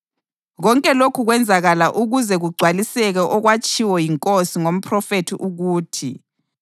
Konke lokhu kwenzakala ukuze kugcwaliseke okwatshiwo yiNkosi ngomphrofethi ukuthi: